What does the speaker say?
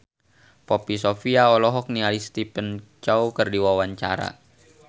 Poppy Sovia olohok ningali Stephen Chow keur diwawancara